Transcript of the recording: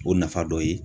O nafa dɔ ye